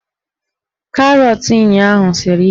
Karọt ụnyaahụ siri ike